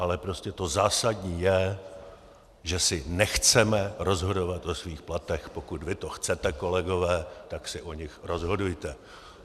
Ale prostě to zásadní je, že si nechceme rozhodovat o svých platech, pokud vy to chcete, kolegové, tak si o nich rozhodujte.